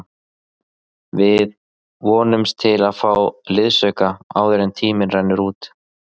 Við vonumst til að fá liðsauka áður en tíminn rennur út.